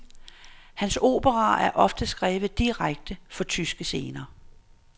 Hans operaer er ofte skrevet direkte for tyske scener.